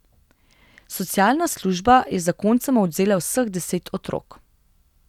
Socialna služba je zakoncema odvzela vseh deset otrok.